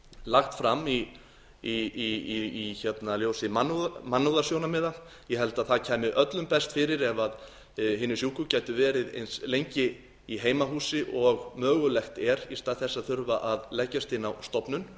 lagt fram í ljósi mannúðarsjónarmiða ég held að það kæmi öllum best ef hinir sjúku gætu verið eins lengi í heimahúsi og mögulegt er í stað þess að þurfa að leggjast inn á stofnun